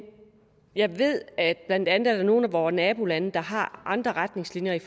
jeg ved at der blandt andet er nogle af vore nabolande der har andre retningslinjer